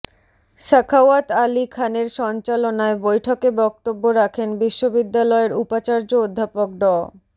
সাখাওয়াত আলী খানের সঞ্চালনায় বৈঠকে বক্তব্য রাখেন বিশ্ববিদ্যালয়ের উপাচার্য অধ্যাপক ড